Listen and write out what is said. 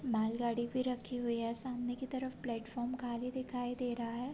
माल गाड़ी भी रखी हुवी है सामने की तरफ प्लॅटफॉर्म खाली दिखाई दे रहा है।